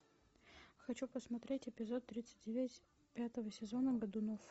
хочу посмотреть эпизод тридцать девять пятого сезона годунов